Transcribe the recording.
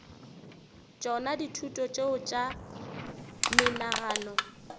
tšona dithuto tšeo tša menagano